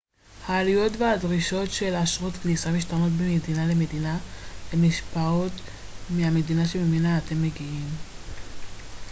העלויות והדרישות של אשרות כניסה משתנות ממדינה למדינה ומושפעות מהמדינה שממנה אתם מגיעים